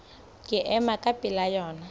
ke ema ka pela lona